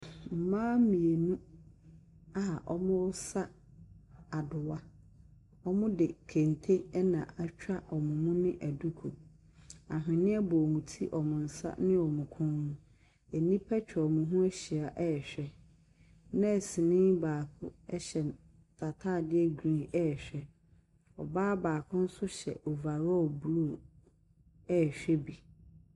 Mmaa mmienu a wɔresa adowa. Wɔde kente atwa wɔn anim ne aduku. Anhweneɛ bɔ wɔn ti, wɔn nsa ne wɔn kɔn mu. Nnipa atwa wɔn ho ahyia rehwɛ. Nursni baako n'ataadeɛ green rehwɛ wɔn. Ɔbaa baako nso hyɛ overakll blue rehwɛ bi.